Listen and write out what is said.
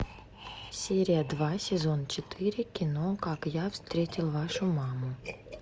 серия два сезон четыре кино как я встретил вашу маму